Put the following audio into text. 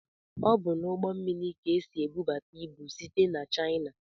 Ọ bụ n'ugbó mmiri ka esị ebubata ịbụ site n'china.